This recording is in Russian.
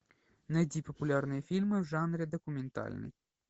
найди популярные фильмы в жанре документальный